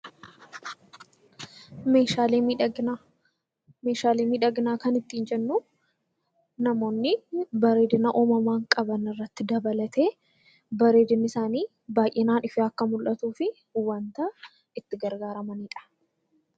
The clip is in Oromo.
Meeshaalee miidhaginaa. Meeshaalee miidhaginaa kan ittiin jennu namoonni bareedina uumamaa qaban irratti dabalatee bareedinni isaanii ifee akka mul'atuuf wanta itti gargaaramaniidha.